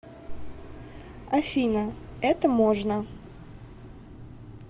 афина это можно